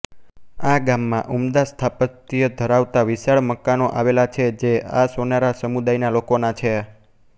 આ ગામમાં ઉમદા સ્થાપત્ય ધરાવતા વિશાળ મકાનો આવેલા છે જે આ સોનારા સમુદાયના લોકોના છે